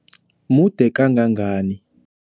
Mude kangangani?